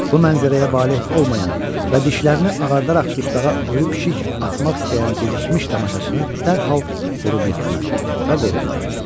Bu mənzərəyə valeh olmayan və dişlərini ağardaraq dustağa ölü pişik atmaq istəyən gecikmiş tamaşaçını dərhal vurub yıxdılar və qovdular.